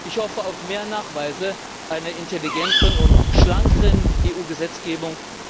Ich hoffe auf mehr Nachweise einer intelligenteren und schlankeren EU Gesetzgebung.